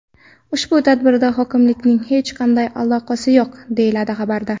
Ushbu tadbirga hokimlikning hech qanday aloqasi yo‘q, deyiladi xabarda.